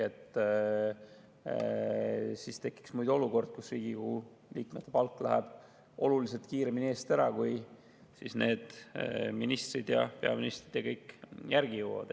Muidu tekiks olukord, kus Riigikogu liikmete palk läheb oluliselt kiiremini eest ära, kui ministrid ja peaminister ja kõik teised järgi jõuavad.